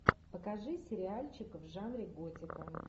покажи сериальчик в жанре готика